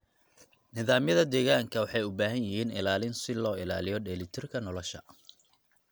Nidaamyada deegaanka waxay u baahan yihiin ilaalin si loo ilaaliyo dheelitirka nolosha.